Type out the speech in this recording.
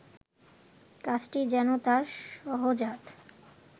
কাজটি যেন তাঁর সহজাত